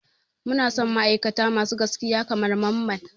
Muna son ma'aikata masu gaskiya kamar Mamman.